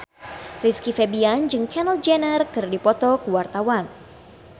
Rizky Febian jeung Kendall Jenner keur dipoto ku wartawan